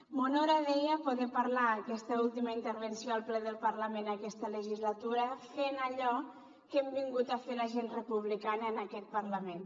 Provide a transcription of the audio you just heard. m’honora deia poder parlar en aquesta última intervenció al ple del parlament aquesta legislatura fent allò que hem vingut a fer la gent republicana en aquest parlament